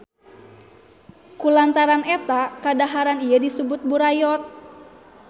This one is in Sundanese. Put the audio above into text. Kulantaran eta kadaharan ieu disebut burayot.